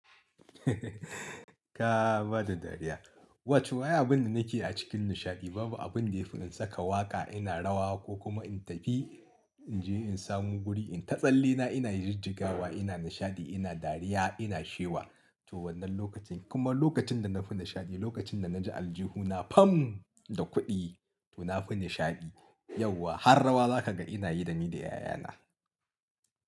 Ka bada dariya. Wato, ai abun da nike a cikin nishaɗi babu abun da ya fi in saka waƙa ina rawa, ko kuma in tafi in je in samu guri in ta tsallena ina jijjigawa ina nishaɗi ina dariya ina shewa. To wannan lokacin, kuma lokacin da na fi nishaɗi lokacin da na ji aljihu na fam da kuɗi, to na fi nishaɗi. Yauwa, har rawa za ka ga ina yi da ni da ƴaƴana.